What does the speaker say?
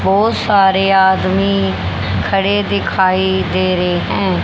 बहोत सारे आदमी खड़े दिखाई दे रे हैं।